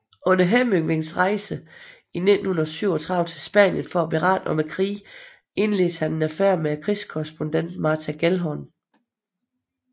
Under Hemingways rejse i 1937 til Spanien for at berette om krigen indledte han en affære med krigskorrespondenten Martha Gellhorn